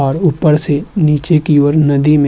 और ऊपर से नीचे की ओर नदी में --